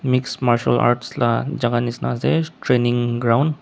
mix martial arts la jaga nishena ase training ground .